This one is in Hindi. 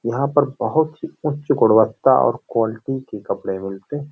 यहाँ पर बहुत ही उच गुणवता और क्वालिटी के कपड़े मिलते हैं।